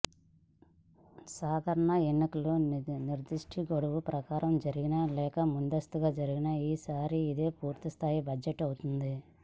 సాధారణ ఎన్నికలు నిర్దిష్ట గడువు ప్రకారం జరిగినా లేక ముందస్తుగా జరిగినా ఈసారికి ఇదే పూర్తి స్థాయి బడ్జెట్ అవుతుంది